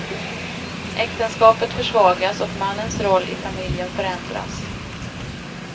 Äktenskapet försvagas och mannens roll i familjen förändras.